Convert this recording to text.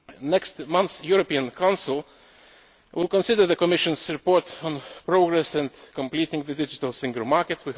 Next month's European Council will consider the Commission's report on progress in completing the digital single market.